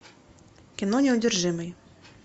кино неудержимый